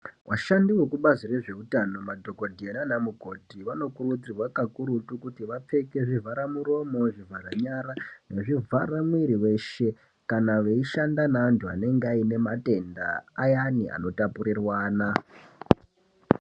Vashandi vekubhazi rezvehutano, madhokodheya nanamukoti vanokurudzirwa kakurutu kuti vapfeke zvivharamuromo, zvivhara nyara nezvivhara mwiri weshe kana veyishanda nevantu vanenge vayine matenda ayani ano tapurirwana.